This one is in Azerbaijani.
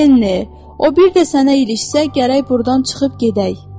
Leni, o bir də sənə ilişsə, gərək burdan çıxıb gedək.